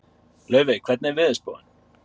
Laufey, hvernig er veðurspáin?